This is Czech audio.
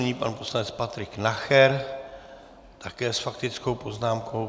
Nyní pan poslanec Patrik Nacher, také s faktickou poznámkou.